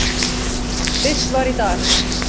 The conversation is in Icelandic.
birt var í dag.